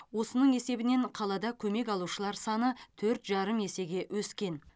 осының есебінен қалада көмек алушар саны төрт жарым есеге өскен